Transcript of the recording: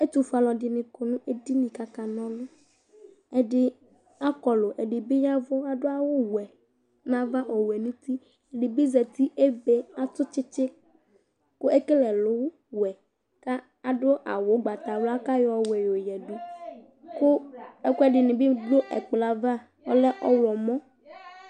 Ɛtʊƒoé alʊɛɖɩŋɩ ƙɔ ŋéɖɩŋɩ ƙaƙaŋa ɔlʊ Ɛɖɩ aƙɔlʊ, ɛɖɩɓɩ ƴaʋʊ , ƙaɖʊ awʊ wɛ ŋaʋa, ɔwɛ ŋʊtɩ Ɛɖɩnɩɓɩ Zatɩ, , ébé, atʊ tsɩtsɩ ƙʊ éƙélé ɛlʊ wɛ Ƙaɖʊ awʊ ʊgbatawla, ƙaƴɔ ɔwɛ ƴoƴaɖʊ, ƙʊ ɛƙʊɛɖiɓɩ ɖʊ ɛkplɔɛʋa ƙolɛ ɔwlɔmɔ